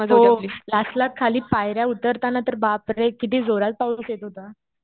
हो. लास्टला खाली पायऱ्या उतरताना तर बापरे किती जोरात पाऊस येत होता.